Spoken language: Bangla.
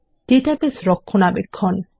ডাটাবেস রক্ষণাবেক্ষণ